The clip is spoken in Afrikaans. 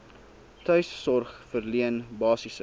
tuissorg verleen basiese